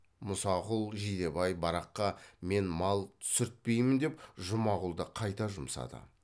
мұсақұл жидебай бараққа мен мал түсіртпеймін деп жұмағұлды қайта жұмсады